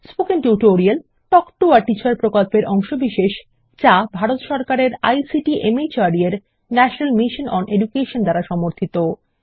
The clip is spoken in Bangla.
spoken tutorial talk to a teacher প্রকল্পের অংশবিশেষ যা ভারত সরকারের আইসিটি মাহর্দ এর ন্যাশনাল মিশন ওন এডুকেশন দ্বারা সমর্থিত